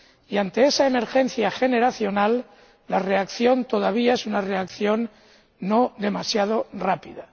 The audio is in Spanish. Y ante esa emergencia generacional, la reacción, todavía, es una reacción no demasiado rápida.